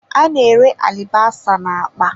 A na-ere alibasa na akpa.